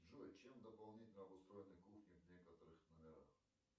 джой чем дополнительно обустроены кухни в некоторых номерах